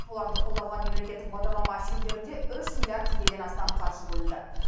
оларды қолдауға мемлекеттік бағдарлама шеңберінде үш миллиард теңгеден астам қаржы бөлінді